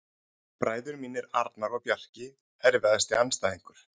Bræður mínir Arnar og Bjarki Erfiðasti andstæðingur?